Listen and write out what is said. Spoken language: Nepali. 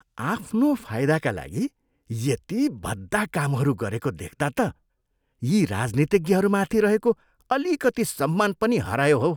आफ्नो फाइदाका लागि यति भद्दा कामहरू गरेको देख्दा त यी राजनितिज्ञहरूमाथि रहेको अलिकति सम्मान पनि हरायो हौ!